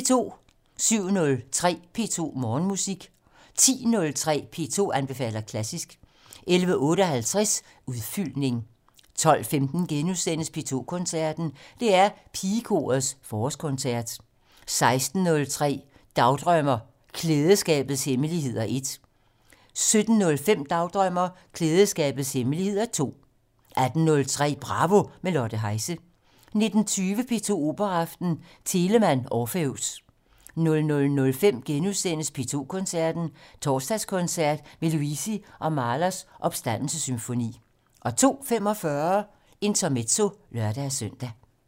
07:03: P2 Morgenmusik 10:03: P2 anbefaler klassisk 11:58: Udfyldning 12:15: P2 Koncerten - DR Pigekorets forårskoncert * 16:03: Dagdrømmer: Klædeskabets hemmeligheder 1 17:05: Dagdrømmer: Klædeskabets hemmeligheder 2 18:03: Bravo - med Lotte Heise 19:20: P2 Operaaften - Telemann: Orpheus 00:05: P2 Koncerten - Torsdagskoncert med Luisi og Mahlers Opstandelsessymfoni * 02:45: Intermezzo (lør-søn)